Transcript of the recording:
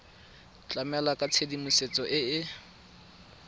tlamela ka tshedimosetso e e